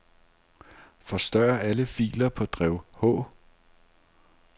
Forstør alle filer på drev H.